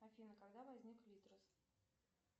афина когда возник литрес